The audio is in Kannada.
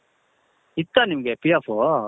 ಇತ್ತಾ ನಿಮಗೆ P.F